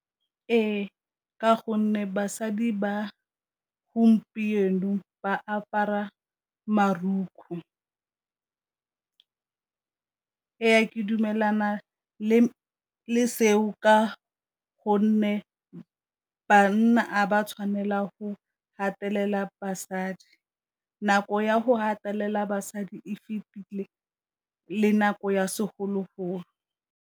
Ee, ka gonne basadi ba gompieno ba apara , ee ke dumelana le seo ka gonne banna Ga ba tshwanelang go gatelela basadi. Nako ya go gatelela basadi e fetile le nako ya segologolo.